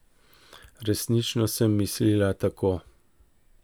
Resnično sem mislila tako.